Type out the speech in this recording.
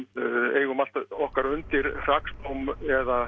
eigum allt okkar undir hrakspám eða